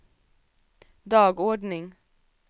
dagordning